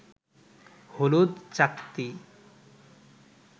হলুদ চাকতি